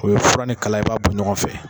O ye fura ni kala ye i b'a bɔ ɲɔgɔn fɛ.